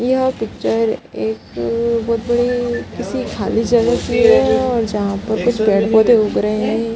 यह पिक्चर एक बहुत बड़े किसी खाली जगह की है और जहां पर कुछ पेड़ पौधे उग रहे है।